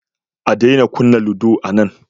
A daina kunna ludo anan